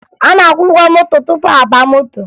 A na-akwụ ụgwọ moto tupu a baa moto